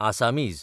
Assamese